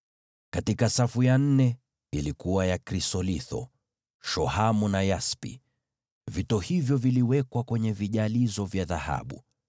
katika safu ya nne ilikuwa na krisolitho, shohamu na yaspi. Vito hivyo vilitiwa kwenye vijalizo vya dhahabu.